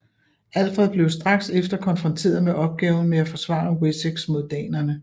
Alfred blev straks efter konfronteret med opgaven med at forsvare Wessex mod danerne